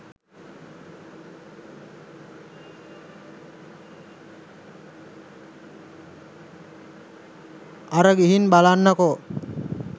අර ගිහින් බලන්නකෝ